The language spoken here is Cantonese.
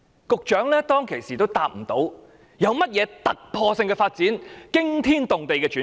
局長當時也無法回答，說明有甚麼突破性的發展和驚天動地的轉變。